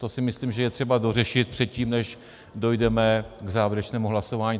To si myslím, že je třeba dořešit předtím, než dojdeme k závěrečnému hlasování.